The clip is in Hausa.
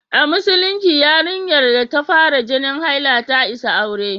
A Musulunci, yarinyar da ta fara jinin haila ta isa aure.